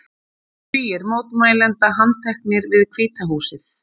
Tugir mótmælenda handteknir við Hvíta húsið